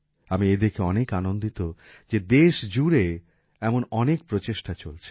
আমি এদেখে অনেক অনন্দিত যে জেশজুরে এমন অনেক প্রচেষ্টা চলছে